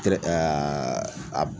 Kɛrɛ ɛaa a b